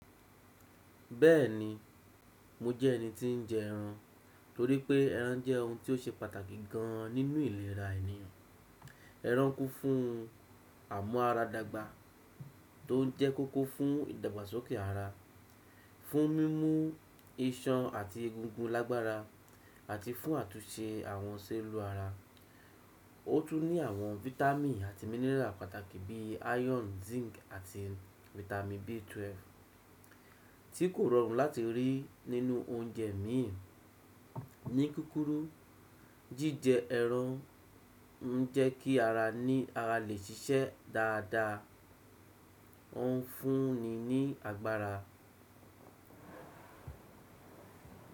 Bẹ́ẹ̀ni, mo jẹ́ ẹni tí ń jẹ ẹran torí pé ẹran jẹ́ ohun tí ó ṣe pàtàkì gan nínú ìlera ènìyàn. Ẹran kún fún amúara dàgbà tó jẹ́ kókó fún ìdàgbàsókè ara, fún mímú iṣan àti egungun lágbára àti fún àtúnse àwọn sẹ́ẹ̀lù ara. Ó tún ní àwọn fítámì àti mineral pàtàkì bí i iron, zinc àti fítámì B12 tí kò rọrùn láti rí nínú oúnjẹ miin. Ní kúrúkù, jíjẹ ẹran ń jẹ́ kí ara ní ara lè ṣiṣẹ́ dáadáa, ó ń fún ni ní agbára.